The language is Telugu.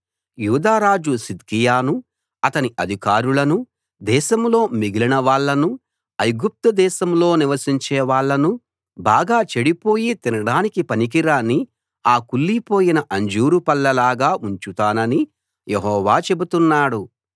యూదా రాజు సిద్కియానూ అతని అధికారులనూ దేశంలో మిగిలిన వాళ్ళనూ ఐగుప్తు దేశంలో నివసించే వాళ్ళనూ బాగా చెడిపోయి తినడానికి పనికిరాని ఆ కుళ్ళిపోయిన అంజూరు పళ్ళలాగా ఉంచుతానని యెహోవా చెబుతున్నాడు